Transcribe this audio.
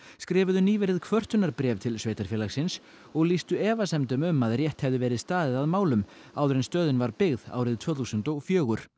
skrifuðu nýverið kvörtunarbréf til sveitarfélagsins og lýstu efasemdum um að rétt hefði verið staðið að málum áður en stöðin var byggð árið tvö þúsund og fjögur